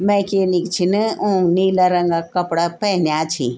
मैकेनिक छिन उंक नीला रंगा क कपड़ा पेंया छी।